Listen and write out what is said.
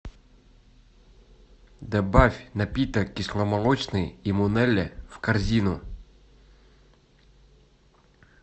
добавь напиток кисломолочный имунеле в корзину